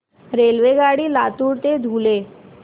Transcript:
रेल्वेगाडी लातूर ते धुळे